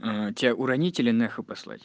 тебя уронить или нахуй послать